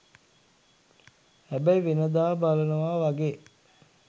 හැබැයි වෙනදා බලනවා වගේ